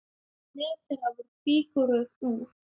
Meðal þeirra voru fígúrur úr